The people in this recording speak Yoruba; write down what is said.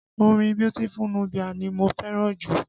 Orin Beautiful Nubia ni mo fẹ́ràn jù